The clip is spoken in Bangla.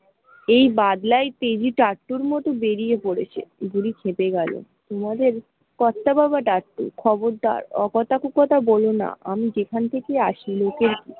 এই বাদলাই তেজি চাট্টুর মতো বেরিয়ে পরেছে বুড়ি ক্ষেপে গেল তোমাকে কত্তা বাবা ডাকছে, খবরদার অ কথা কু কথা বোলো না আমি যেখান থেকে ই আসি লোকের ।